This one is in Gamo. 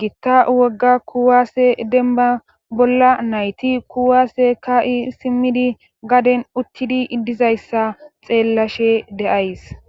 gitta wogga kuwaasse denba bolla nayti kuwaase ka7i simmidi gaden uttidi iddizayssa xeellashe deays